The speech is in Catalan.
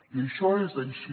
i això és així